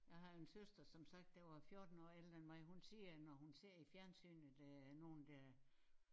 Jeg har en søster som sagt der var 14 år ældre end mig hun siger når hun ser i fjernsynet øh nogen der